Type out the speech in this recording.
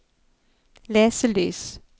leselys